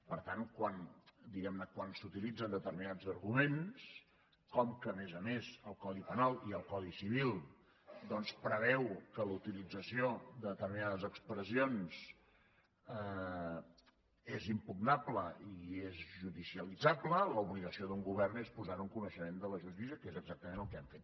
per tant quan s’utilitzen determinats arguments com que a més a més el codi penal i el codi civil preveuen que la utilització de determinades expressions és impugnable i és judicialitzable l’obligació d’un govern és posarho en coneixement de la justícia que és exactament el que hem fet